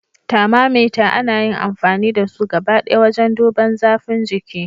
Tharmamater ana yin amfani da su gabadaya wajen duban zafin jiki.